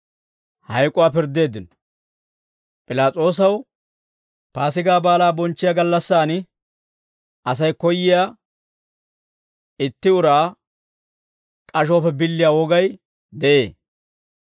P'ilaas'oosaw Paasigaa Baalaa bonchchiyaa gallassaan Asay koyyiyaa itti uraa k'ashuwaappe billiyaa wogay de'ee.